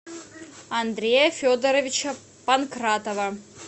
андрея федоровича панкратова